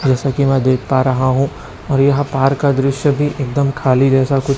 जैसा कि मैं देख पा रहा हूं और यहां पार्क का दृश्य भी एकदम खाली जैसा कु--